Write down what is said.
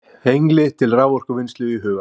Hengli til raforkuvinnslu í huga.